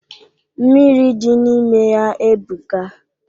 Mmiri dị n'ime ya ebuka.